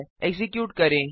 execute करें